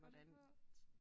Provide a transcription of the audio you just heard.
Fundet på